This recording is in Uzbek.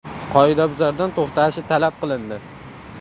Qoidabuzardan to‘xtashi talab qilindi.